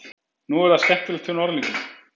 Nú er það skemmtilegt hjá þeim Norðlingunum.